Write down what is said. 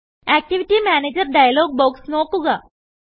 activity manager dialog box നോക്കുക